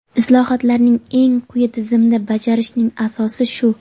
Islohotlarni eng quyi tizimda bajarishning asosi shu.